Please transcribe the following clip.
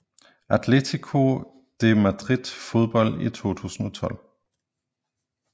Atletico de Madrid Fodbold i 2012